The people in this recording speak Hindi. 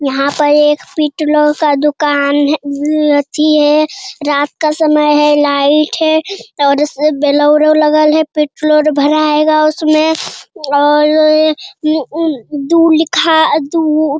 यहाँ पे एक पेट्रोल का दुकान है उ अथि है रात का समय है लाइट है और उसे बोलेरो लगल है पेट्रोल भराएगा उसमें और अ उम्म दू लिखा दू --